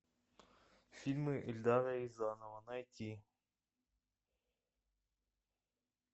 фильмы эльдара рязанова найти